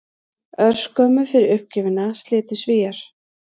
Örskömmu fyrir uppgjöfina slitu Svíar